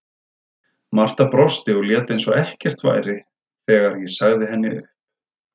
Marta brosti og lét eins og ekkert væri þegar ég sagði henni upp.